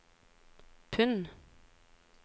pund